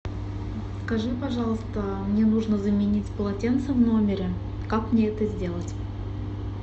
скажи пожалуйста мне нужно заменить полотенца в номере как мне это сделать